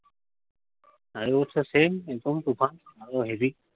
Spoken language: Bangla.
আগের বছর same এরকম তুফান। আরো heavy